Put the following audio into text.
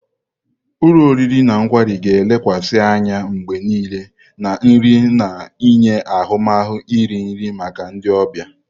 Ulo oriri na kwari ga-elekwasị anya mgbe niile na nri na-enye ahụmahụ iri nri maka ndị ọbịa.